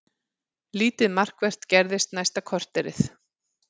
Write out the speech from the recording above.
Lítið markvert gerðist næsta korterið.